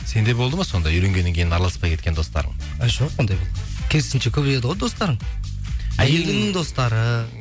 сенде болды ма сондай үйленгеннен кейін араласпай кеткен достарың жоқ ондай керісінше көбейеді ғой достарың әйеліңнің достары